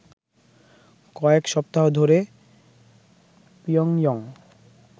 কয়েক সপ্তাহ ধরে পিয়ংইয়ং